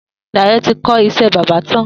Dayo ti kọ iṣẹ̀ bàbà tán